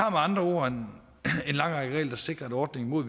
andre ord en lang række regler der sikrer at ordningen med